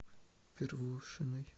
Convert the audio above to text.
первушиной